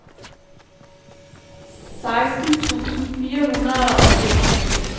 seksten tusind fire hundrede og femogfirs